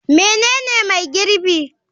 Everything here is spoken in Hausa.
Menene mai girbi?